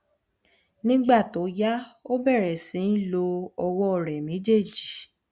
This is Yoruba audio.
nígbà tó yá ó bẹrẹ sí í lo ọwọ rẹ méjèèjì